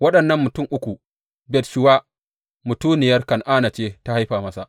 Waɗannan mutum uku Bat shuwa mutuniyar Kan’ana ce ta haifa masa.